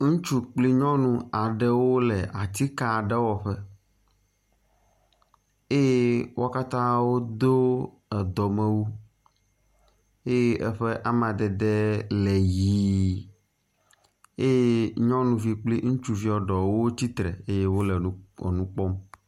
Ŋutsu kple nyɔnu aɖewo le atike aɖe wɔƒe eye wo katã wodo edɔmewu eye eƒe amadede le ʋɛ̃ eye nyɔnuvi kpli ŋutsuvi ɖewo tsitre eye wole enu kpɔm.